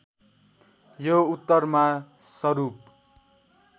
यो उत्तरमा सरूप